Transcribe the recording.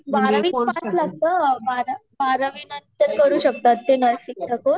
बारावी पास लागत. बारावी नंतर करू शकतात ते नर्सिंग चा कोर्स